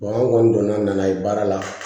an kɔni donna n'a ye baara la